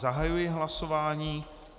Zahajuji hlasování.